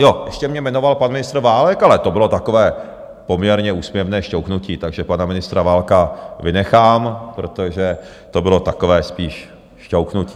Jo, ještě mě jmenoval pan ministr Válek, ale to bylo takové poměrně úsměvné šťouchnutí, takže pana ministra Válka vynechám, protože to bylo takové spíš šťouchnutí.